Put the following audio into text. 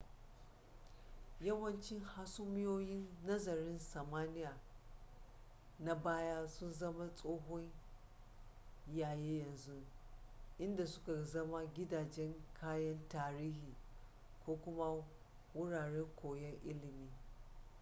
yawanci hasumiyoyin nazarin samaniya na baya sun zama tsohon yayi yanzu inda suka zama gidajen kayan tarihi ko kuma wuraren koyon ilimi